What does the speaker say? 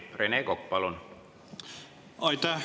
Rene Kokk, palun!